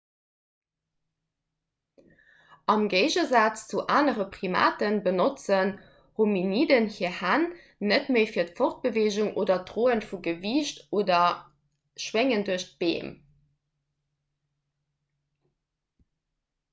am géigesaz zu anere primate benotzen hominiden hir hänn net méi fir d'fortbeweegung oder d'droe vu gewiicht oder d'schwéngen duerch d'beem